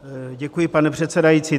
Děkuji, pane předsedající.